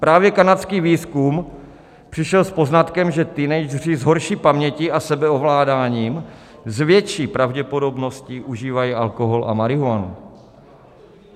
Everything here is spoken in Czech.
Právě kanadský výzkum přišel s poznatkem, že teenageři s horší paměti a sebeovládáním s větší pravděpodobností užívají alkohol a marihuanu.